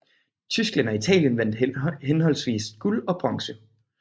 Tyskland og Italien vandt henholdsvis guld og bronze